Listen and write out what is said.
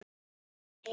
Ég heyri.